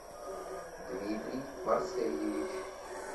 дмитрий марсельевич